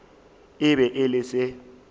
e be e le se